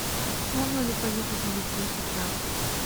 можно ли поехать в литву сейчас